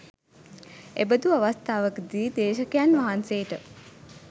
එබඳු අවස්ථාවකදී දේශකයන් වහන්සේට